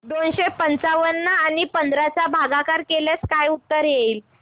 दोनशे पंच्याण्णव आणि पंधरा चा भागाकार केल्यास काय उत्तर येईल